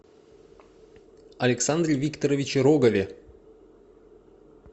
александре викторовиче рогове